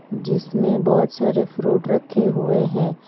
जिसमें बहोत सारे फ्रूट रखे हुए है।